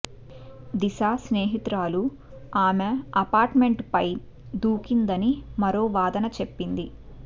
దిశా స్నేహితురాలు ఆమె అపార్ట్ మెంట్పై దూకిందని మరో వాదన చెప్పింది